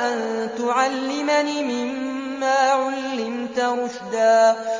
أَن تُعَلِّمَنِ مِمَّا عُلِّمْتَ رُشْدًا